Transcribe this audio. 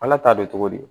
Ala t'a dɔn cogo di